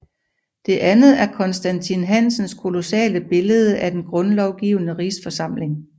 Det andet er Constantin Hansens kolossale billede af Den Grundlovgivende Rigsforsamling